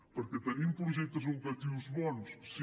perquè tenim projectes educatius bons sí